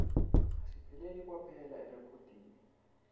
asipheleli kwaphela erekhodini